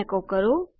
એકો કરો